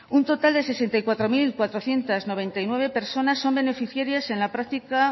un total de sesenta y cuatro mil cuatrocientos noventa y nueve personas son beneficiarias en la práctica